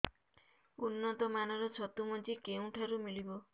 ଉନ୍ନତ ମାନର ଛତୁ ମଞ୍ଜି କେଉଁ ଠାରୁ ମିଳିବ